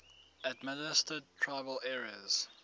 administered tribal areas